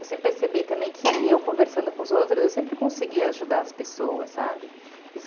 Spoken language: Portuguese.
Eu sempre percebi também que eu conversando com os outros, eu sempre conseguia ajudar as pessoas, sabe?